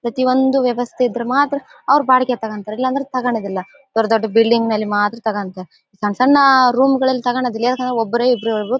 ಪ್ರತಿಯೊಂದು ವ್ಯವಸ್ಥೆ ಇದ್ರೆ ಮಾತ್ರ ಅವರು ಬಾಡಿಗೆ ತಗೋತಾರೆ ಇಲ್ಲಾಂದ್ರೆ ತಗೋಳೋದು ಇಲ್ಲ. ದೊಡ್ ದೊಡ್ಡ ಬಿಲ್ಡಿಂಗ್ ನಲ್ಲಿ ಮಾತ್ರ ತಗೋಳ್ತಾರೆ ಸಣ್ಣ್ ಸಣ್ಣ ರೂಮ್ ನಲ್ಲಿ ತಗೋಳೋದಿಲ್ಲ ಯಾಕಂದ್ರೆ ಒಬ್ಬರೋ ಇಬ್ಬರೋ ಇರೋದು--